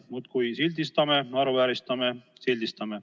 Muudkui sildistame ja naeruvääristame.